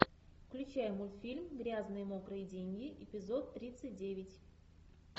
включай мультфильм грязные мокрые деньги эпизод тридцать девять